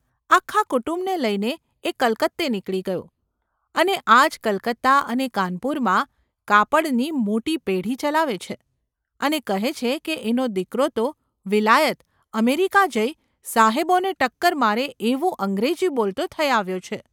આખા કુટુંબને લઈને એ કલકત્તે નીકળી ગયો, અને આજ કલકત્તા અને કાનપુરમાં કાપડની મોટી પેઢી ચલાવે છે, અને કહે છે કે એનો દીકરો તો વિલાયત – અમેરિકા જઈ સાહેબોને ટક્કર મારે એવું અંગ્રેજી બોલતો થઈ આવ્યો છે !.